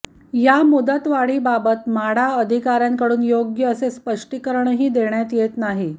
या मुदतवाढीबाबत म्हाडा अधिकार्यांकडून योग्य असे स्पष्टीकरणही देण्यात येत नाही